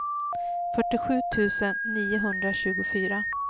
fyrtiosju tusen niohundratjugofyra